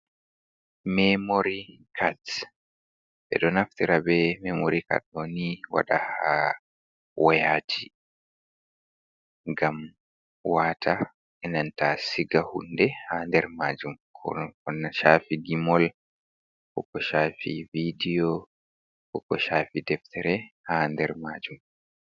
Memori kads ɓe ɗo naftira be memori kad onni waɗa ha wayaji, gam wata enanta siga hunde ha nder majum, ko shafi gimol ko ko shafi vidiyo koko shafi deftere ha nder majum.